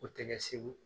O tɛ kɛ segu